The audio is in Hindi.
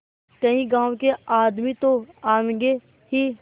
कई गाँव के आदमी तो आवेंगे ही